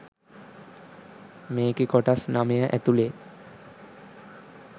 මේකෙ කොටස් නමය ඇතුළෙ